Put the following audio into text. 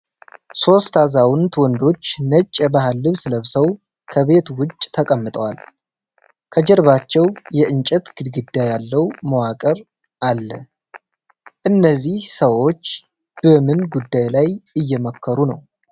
ሶስት አዛውንት ወንዶች ነጭ የባህል ልብስ ለብሰው ከቤት ውጭ ተቀምጠዋል። ከጀርባቸው የእንጨት ግድግዳ ያለው መዋቅር አለ። እነዚህ ሰዎች በምን ጉዳይ ላይ እየመከሩ ነው?